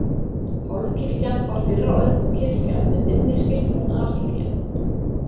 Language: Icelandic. Hálfkirkja var fyrr á öldum kirkja með minni skyldur en alkirkja.